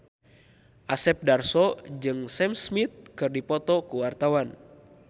Asep Darso jeung Sam Smith keur dipoto ku wartawan